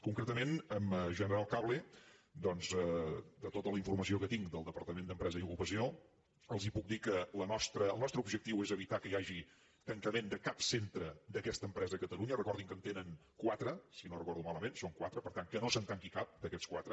concretament a general cable doncs de tota la informació que en tinc del departament d’empresa i ocupació els puc dir que els nostres objectius són evitar que hi hagi tancament de cap centre d’aquesta empresa a catalunya recordin que en tenen quatre si no ho recordo malament són quatre per tant que no se’n tanqui cap d’aquests quatre